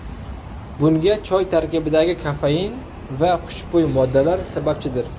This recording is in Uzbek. Bunga choy tarkibidagi kofein va xushbo‘y moddalar sababchidir.